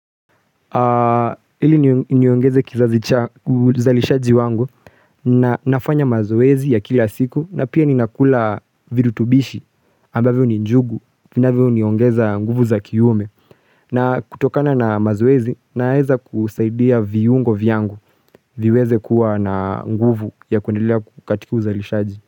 Hili niongeze kizazi cha uzalishaji wangu na nafanya mazoezi ya kila siku na pia ninakula virutubishi ambavyo ni njugu kinavyo niongeza nguvu za kiume na kutokana na mazoezi naweza kusaidia viungo vyangu viweze kuwa na nguvu ya kuendelea ku katika uzalishaji.